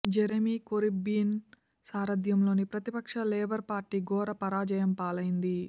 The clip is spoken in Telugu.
జెరెమీ కోర్బిన్ సారథ్యంలోని ప్రతిపక్ష లేబర్ పార్టీ ఘోర పరాజయం పాలైంది